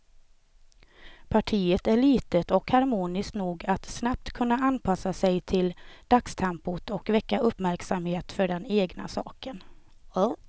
Partiet är litet och harmoniskt nog att snabbt kunna anpassa sig till dagstempot och väcka uppmärksamhet för den egna saken.